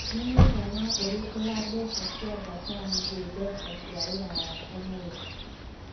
ni mũigana ũrikũ wa mbeca cia Japan gwi mbeca cia rũraya ũmũthi